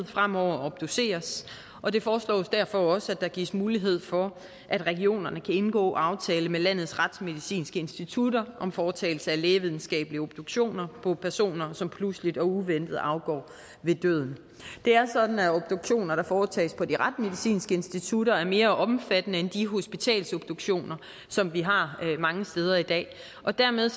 fremover obduceres og det foreslås derfor også at der gives mulighed for at regionerne kan indgå aftale med landets retsmedicinske institutter om foretagelse af lægevidenskabelig obduktion på personer som pludseligt og uventet afgår ved døden det er sådan at obduktioner der foretages på de retsmedicinske institutter er mere omfattende end de hospitalsobduktioner som vi har mange steder i dag og dermed